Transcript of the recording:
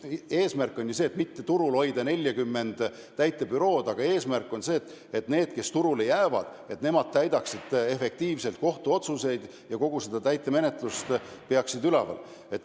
Eesmärk ei ole ju see, et hoida turul 40 täituribürood, eesmärk on see, et need, kes turule jäävad, täidaksid efektiivselt kohtuotsuseid ja kogu täitemenetlust ülal peaksid.